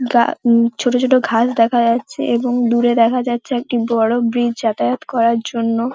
গা উ ছোট ছোট ঘাস দেখা যাচ্ছে এবং দূরে দেখা যাচ্ছে একটি বড় ব্রীজ যাতায়াত করার জন্য।